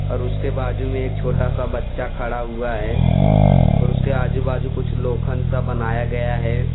और उसके बाजू में एक छोटा सा बच्चा खड़ा हुआ है और उसके आजू बाजू कुछ लोखन सा बनाया गया हैं।